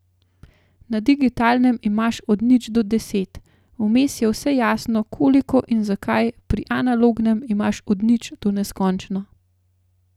Na digitalnem imaš od nič do deset, vmes je vse jasno, koliko in zakaj, pri analognem imaš od nič do neskončno.